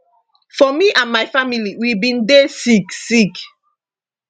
for me and my family we bin dey sick sick